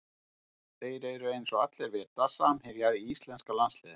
Þeir eru eins og allir vita samherjar í íslenska landsliðinu.